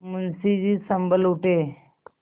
मुंशी जी सँभल उठे